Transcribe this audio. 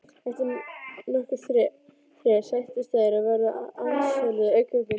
Eftir nokkurt þref sættust þeir á verð og handsöluðu kaupin.